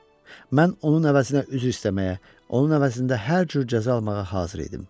Mən onun əvəzinə üzr istəməyə, onun əvəzində hər cür cəza almağa hazır idim.